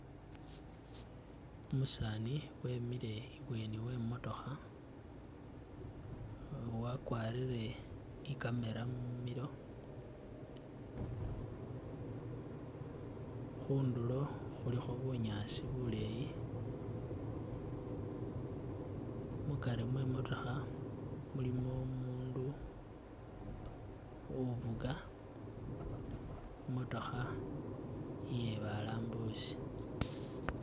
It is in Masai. Umusaani wemile i'bweni we'imotookha, wakwarire ni camera mumilo, khundulo khulikho bunyaasi buleyi, mukari mwe imotookha mulimo omundu ufuga i'motookha iye balambusi